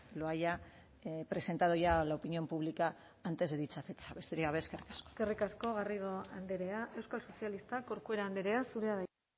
lo haya presentado ya a la opinión pública antes de dicha fecha besterik gabe eskerrik asko eskerrik asko garrido andrea euskal sozialistak corcuera andrea zurea da hitza